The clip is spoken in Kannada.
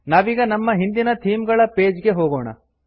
ನಾವೀಗ ನಮ್ಮ ಹಿಂದಿನ ಥೀಮ್ ಗಳ ಪೇಜ್ ಗೆ ಹೋಗೋಣ